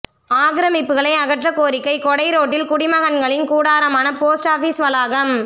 ஆக்கிரமிப்புகளை அகற்ற கோரிக்கை கொடைரோட்டில் குடிமகன்களின் கூடாரமான போஸ்ட் ஆபீஸ் வளாகம்